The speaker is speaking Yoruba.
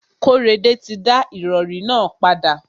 Kóredé ti da ìrọrí nà padà.